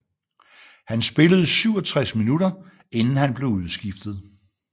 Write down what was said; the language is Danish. Han spillede 67 minutter inden han blev udskiftet